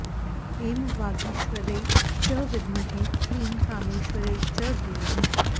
एं वागीश्वर्यै च विद्महे क्लीं कामेश्वर्यै च धीमहि